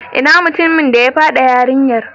Inna mutumin da ya fyade yarinyan?